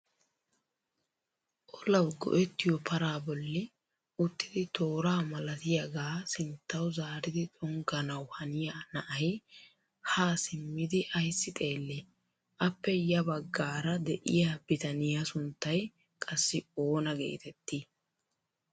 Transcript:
Olawu go"ettiyoo paraa bolli uttidi toora malatiyaagaa sinttawu zaaridi xonganawu haniyaa na'ay haa simmidi ayssi xeellii? appe ya baggaara de'iyaa bitaniyaa sunttay qassi oona getettii?